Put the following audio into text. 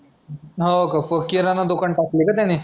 हो का किराणा दुकान टाकलय का त्यानी.